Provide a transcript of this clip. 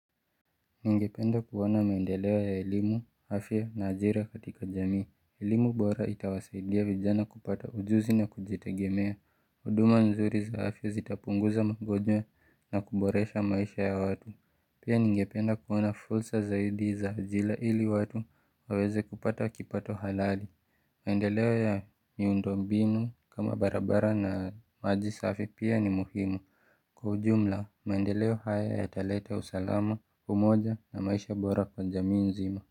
Ningependa kuwana maendelewa ya ilimu, hafi na ajira katika jamii, ilimu bora itawasaidia vijana kupata ujuzi na kujitegemea, huduma nzuri za afya zitapunguza mgojwe na kuboresha maisha ya watu Pia ningependa kuwa na fulsa zaidi za ajila ili watu waweze kupata wakipato halali maendeleo ya miundombinu kama barabara na majisafi pia ni muhimu Kwa ujumla, mandeleo haya yataleta usalama kumoja na maisha bora kwa jamii nzima.